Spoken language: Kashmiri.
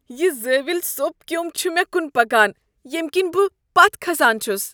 یہ زٲوِیُل سوپ كیوم چھ مےٚ کٖن پکان ییٚمہ كِنۍ بہٕ پتھ كھسان چھُس۔